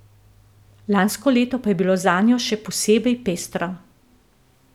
Lansko leto pa je bilo zanjo še posebej pestro.